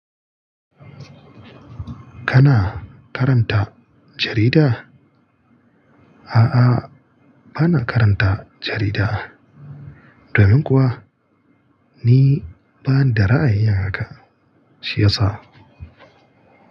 Kana karanta jarida? A'a, bana karanta jarida. Domin kuwa ni banda ra'ayi yin haka siyasa.